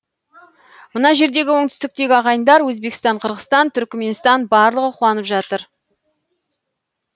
мына жердегі оңтүстіктегі ағайындар өзбекстан қырғызстан түрікменстан барлығы қуанып жатыр